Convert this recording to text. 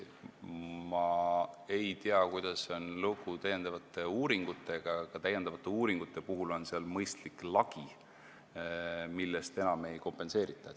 Ma ei tea, kuidas on lugu täiendavate uuringutega, aga täiendavatel uuringutel on mõistlik lagi, millest rohkem ei kompenseerita.